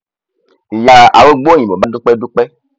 ìyá arúgbó òyìnbó bá dúpẹ dúpẹ